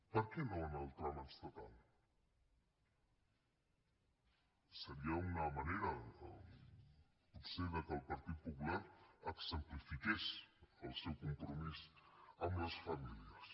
per què no en el tram estatal seria una manera potser que el partit popular exemplifiqués el seu compromís amb les famílies